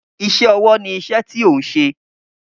Iṣẹ́ ọwọ́ ni iṣẹ́ tí ò ń ṣe